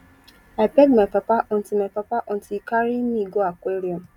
i beg my papa until my papa until he carry me go aquarium